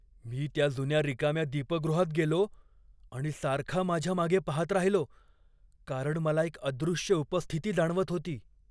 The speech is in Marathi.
मी त्या जुन्या रिकाम्या दीपगृहात गेलो आणि सारखा माझ्या मागे पाहत राहिलो, कारण मला एक अदृश्य उपस्थिती जाणवत होती.